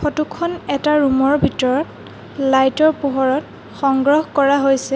Photo খন এটা room ৰ ভিতৰত লাইট ৰ পোহৰত সংগ্ৰহ কৰা হৈছে।